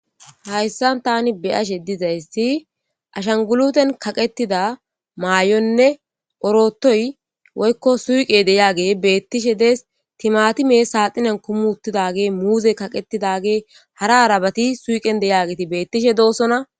hayssan tani be'ashe dizaysi ashanguluten kaqetida maayonne orotoy woykko suuqe de'age beettishe de'es timatimee saaxinen kumi uttidage muuze kaqetidage hara harabati suuqen deyageti beettishe doosona